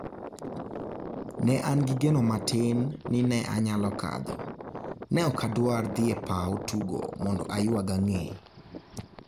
"Ne an gi geno matin ni ne anyalo kadho...ne ok adwar dhi e paw tugo mondo aywag ang'e".